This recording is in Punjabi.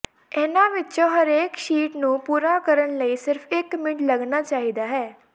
ਇਹਨਾਂ ਵਿੱਚੋਂ ਹਰੇਕ ਸ਼ੀਟ ਨੂੰ ਪੂਰਾ ਕਰਨ ਲਈ ਸਿਰਫ ਇੱਕ ਮਿੰਟ ਲੱਗਣਾ ਚਾਹੀਦਾ ਹੈ